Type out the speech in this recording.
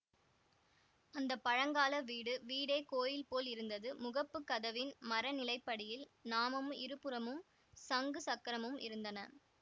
அந்த பழங்கால வீடு வீடே கோயில்போல் இருந்தது முகப்புக் கதவின் மர நிலைப்படியில் நாமமும் இருபுறமும் சங்கு சக்கரமும் இருந்தன